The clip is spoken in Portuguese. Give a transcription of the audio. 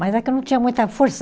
Mas é que eu não tinha muita força.